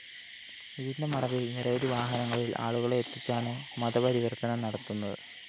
ഇതിന്റെ മറവില്‍ നിരവധി വാഹനങ്ങളില്‍ ആളുകളെ എത്തിച്ചാണ് മതപരിവര്‍ത്തനം നടത്തുന്നത്